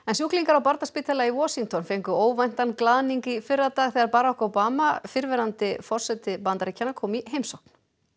sjúklingar á barnaspítala í Washington fengu óvæntan glaðning í fyrradag þegar Barack Obama fyrrverandi forseti Bandaríkjanna kom í heimsókn